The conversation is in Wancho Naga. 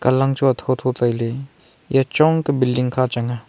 lang chu atho atho tailey eya chong ka building kha changnga.